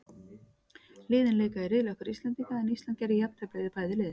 Liðin leika í riðli okkar Íslendinga, en Ísland gerði jafntefli við bæði lið.